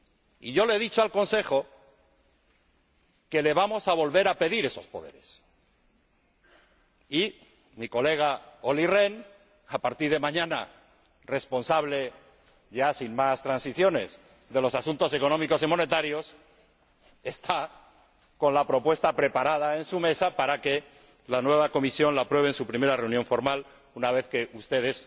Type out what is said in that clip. Y yo le he dicho al Consejo que le vamos a volver a pedir esos poderes mi colega Olli Rehn, a partir de mañana responsable, ya sin más transiciones, de los asuntos económicos y monetarios, tiene la propuesta preparada para que la nueva Comisión la apruebe en su primera reunión formal, una vez que ustedes